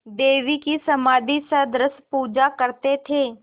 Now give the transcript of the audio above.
देवी की समाधिसदृश पूजा करते थे